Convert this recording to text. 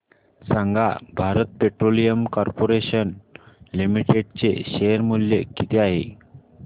सांगा Bharat petroleum corporation limited चे share मूल्य किती आहे